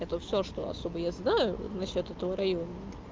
это всё что особо я знаю насчёт этого района